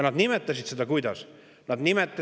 Nad nimetasid seda kuidas?